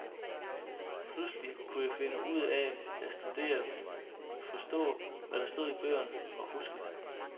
Pludselig kunne jeg finde ud af at studere, forstå hvad der stod i bøgerne og huske det.